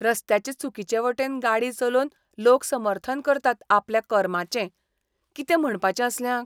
रस्त्याचे चुकीचे वटेन गाडी चलोवन लोक समर्थन करतात आपल्या कर्माचें. कितें म्हणपाचें असल्यांक!